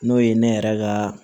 N'o ye ne yɛrɛ ka